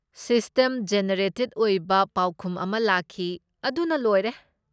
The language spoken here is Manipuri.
ꯁꯤꯁꯇꯦꯝ ꯖꯦꯅꯦꯔꯦꯇꯦꯗ ꯑꯣꯏꯕ ꯄꯥꯎꯈꯨꯝ ꯑꯃ ꯂꯥꯛꯈꯤ, ꯑꯗꯨꯅ ꯂꯣꯏꯔꯦ꯫